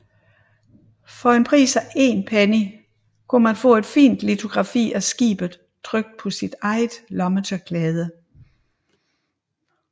For en pris af 1 penny kunne man få et fint litografi af skibet trykt på sit eget lommetørklæde